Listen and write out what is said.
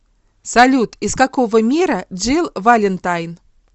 салют из какого мира джилл валентайн